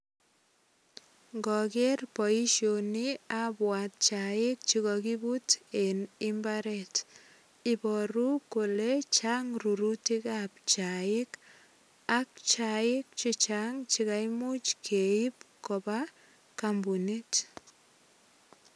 Ngager boisioni abwat chaik che kakibut eng imbaret. Ibaru kole chang rurutikab chaik ak chaik chechang che kaimuch keip kopa kampunit.